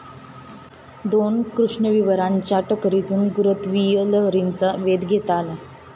दोन कृष्णविवरांच्या टकरीतून गुरुत्वीय लहरींचा वेध घेता आला.